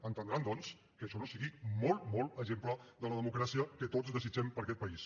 entendran doncs que això no sigui molt molt exemple de la democràcia que tots desitgem per a aquest país